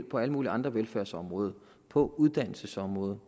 på alle mulige andre velfærdsområder og på uddannelsesområdet